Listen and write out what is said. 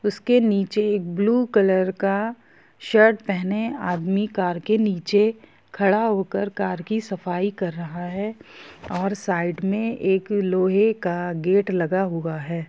उसके नीचे blue colour का शर्ट पहने आदमी कर के नीचे खड़ा होकर कर की सफाई कर रहा है और साइड में एक लोहे का गेट लगा हुआ है।